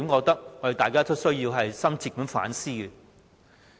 大家應深切反思。